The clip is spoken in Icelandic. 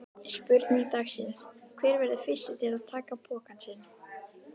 Spurning dagsins: Hver verður fyrstur til að taka pokann sinn?